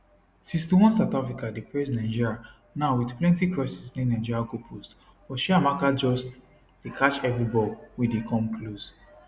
61 south africa dey press nigeria now wit plenti crosses near nigeria goal post but chiamaka just dey catch evri ball wey dey come close